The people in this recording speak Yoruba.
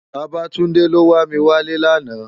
Babatunde ló wá mi wá lè làná